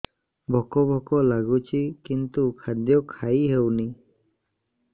ଭୋକ ଭୋକ ଲାଗୁଛି କିନ୍ତୁ ଖାଦ୍ୟ ଖାଇ ହେଉନି